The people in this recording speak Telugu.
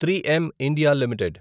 three M India limited